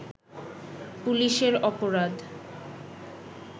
পুলিশের অপরাধ